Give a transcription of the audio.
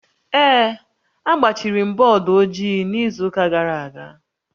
Ee, agbachiri m bọọdụ ojii n'izu ụka gara aga